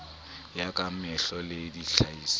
ya ka mehla le tlhahiso